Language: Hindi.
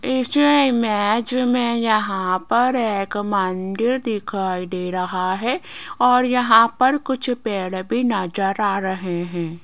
इस इमेज में यहां पर एक मंदिर दिखाई दे रहा है और यहां पर कुछ पेड़ भी नजर आ रहे हैं।